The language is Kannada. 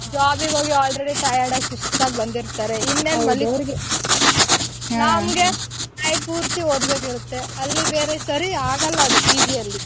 Job ಗ್ ಹೋಗಿ already tired ಸುಸ್ತಾಗಿ ಬಂದಿರ್ತಾರೆ ಇನ್ನೇನ್ ನಮ್ಗೆ night ಪೂರ್ತಿ ಓದ್ಕೊಬೇಕಾಗಿರುತ್ತೆ ಅಲ್ಲಿ ಬೇರೆ ಸರಿ ಆಗಲ್ಲ ಅದು PG ಅಲ್ಲಿ.